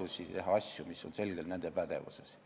ja teha asju, mis on selgelt nende pädevuses.